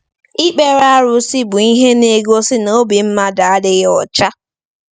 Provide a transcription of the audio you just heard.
Ikpere arụsị bụ ihe na-egosi na obi mmadụ adịghị ọcha.